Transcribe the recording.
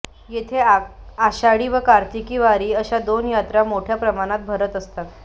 येथे आषाढी व कार्तिकी वारी अशा दोन यात्रा मोठ्या प्रमाणावर भरत असतात